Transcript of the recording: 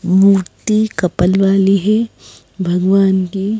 मूर्ति couple वाली है भगवान देव--